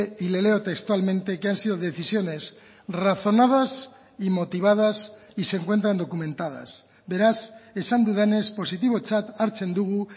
y le leo textualmente que han sido decisiones razonadas y motivadas y se encuentran documentadas beraz esan dudanez positibotzat hartzen dugu